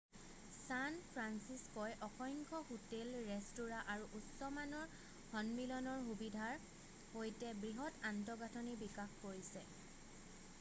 San ফান্সিস্ক'ই অসংখ্য hotel restaurant আৰু উচ্চ মানৰ সন্মিলনৰ সুবিধাৰ সৈতে বৃহৎ আন্তঃগাঁঠনি বিকাশ কৰিছে